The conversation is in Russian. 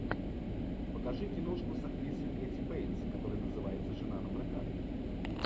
покажи киношку с актрисой кэти бейтс которая называется жена напрокат